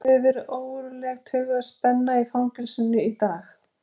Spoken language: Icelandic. Annars hefur verið ógurleg taugaspenna í fangelsinu í dag.